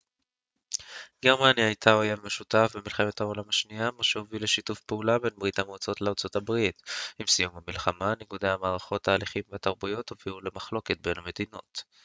גרמניה הייתה אויב משותף במלחמת העולם השנייה מה שהוביל לשיתוף פעולה בין ברית המועצות לארה ב עם סיום המלחמה ניגודי המערכות ההליכים והתרבויות הובילו למחלוקת בין המדינות